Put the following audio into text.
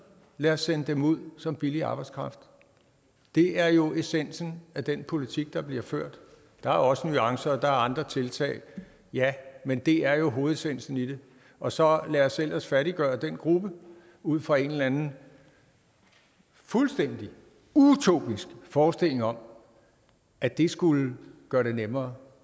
lad os sende dem ud som billig arbejdskraft det er jo essensen af den politik der bliver ført der er også nuancer og andre tiltag ja men det er hovedessensen i det og så lad os ellers fattiggøre den gruppe ud fra en eller anden fuldstændig utopisk forestilling om at det skulle gøre det nemmere